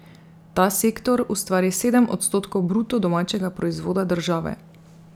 Ta sektor ustvari sedem odstotkov bruto domačega proizvoda države.